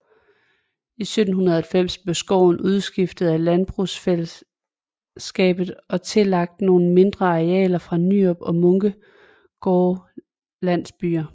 I 1790 blev skoven udskiftet af landbrugsfællesskabet og tillagt nogle mindre arealer fra Nyrup og Munkegårde landsbyer